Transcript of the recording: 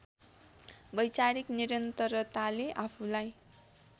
वैचारिक निरन्तरताले आफूलाई